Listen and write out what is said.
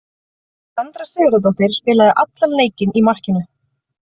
Sandra Sigurðardóttir spilaði allan leikinn í markinu.